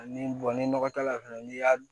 Ni ni nɔgɔ t'a la fɛnɛ n'i y'a